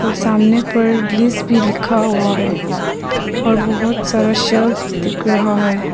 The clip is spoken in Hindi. और सामने पर ग्रीश भी लिखा हुआ है और बहो त सारा दिख रहा है।